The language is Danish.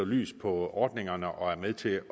lys på ordningerne og er med til